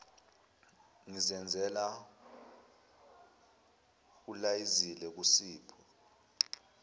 ngizenzela ulayezile kusipho